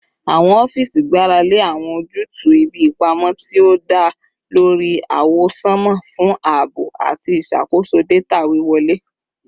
Awọn ọfiisi gbarale awọn ojutu ibi ipamọ ti o da lori awọsanma fun aabo ati iṣakoso data wiwọle